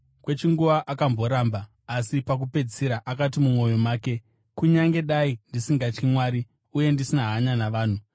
“Kwechinguva akamboramba. Asi pakupedzisira akati mumwoyo make, ‘Kunyange dai ndisingatyi Mwari uye ndisina hanya navanhu,